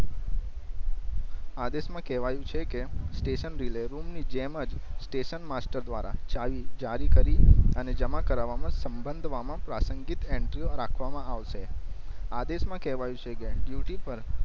આદેશ માં કેવાયું છે કે સ્ટેશન રિલે રૂમ ની જેમ જ સ્ટેશન માસ્ટર દ્વારા ચાવી જારી કરી અને જમા કરવા માં સંબંધવામાં પ્રાસંગિક એન્ટ્રીઓ રાખવા માં આવસે આદેશ માં કેહવાયું છે કે ડ્યૂટિ પર